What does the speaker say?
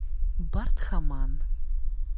бардхаман